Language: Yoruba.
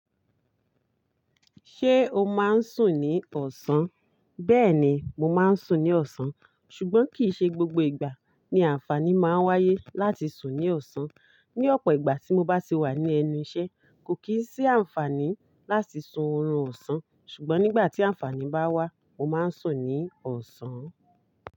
Ṣé o máa ń sùn ní ọ̀sán? Bẹ́ẹ̀ni mo máa ń sùn ní ọ̀sán ṣùgbọ́n kì í ṣe gbogbo ìgbà ni àǹfààní máa ń wáyé láti sùn ní ọ̀sán. Ni ọ̀pọ̀ ìgbà tí mo bá sì wà ní ẹni iṣẹ́ kò kì í sí àǹfààní láti sun oorun ọ̀sán ṣùgbọ́n nígbà tí àǹfààní bá wá mo máa ń sùn ní ọ̀sán.